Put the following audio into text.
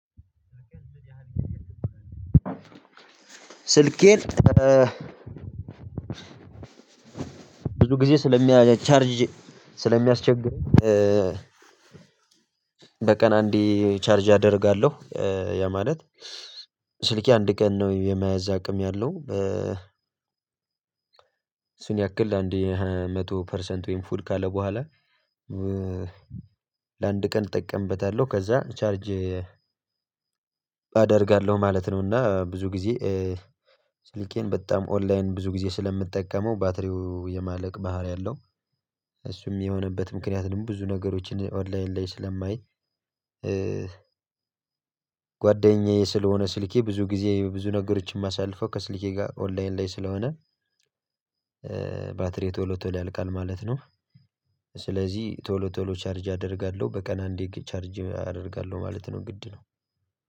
ስልኬን ብዙ ጊዜ ስለሚያ ቻርጅ ስለሚያስቸግር። በቀን አንዴ ቻርጅ አደርጋለሁ። እ ያ ማለት ስልኬ አንድ ቀን ነው የማያዝ አቅም ያለው። እ ያክል አንድ መቶ ፐርሰንት ወይም ፉል ካለ በኋላ እ ለአንድ ቀን እጠቀምበታለሁ ከዛ ቻርጅ አደርጋለሁ ማለት ነው። እና ብዙ ጊዜ ስልኬን በጣም ኦንላይን ብዙ ጊዜ ስለምጠቀመው ባትሪው የማለቅ ባህሪ አለው። እሱም የሆነበት ምክንያት ደግሞ ብዙ ነገሮችን ኦንላይን ላይ ስለማይ እ ጓደኛዬ ስለሆነ ስልኬም ብዙ ጊዜ ብዙ ነገሮችን ማሳልፈው ከስልኬ ጋር ኦንላይን ላይ ስለሆነ ባትሪዬ ቶሎ ቶሎ ያልቃል ማለት ነው። ስለዚህ ቶሎ ቶሎ ቻርጅ አደርጋለሁ በቀን አንዴ ቻርጅ አደርጋለሁ ማለት ነው ግድ ነው።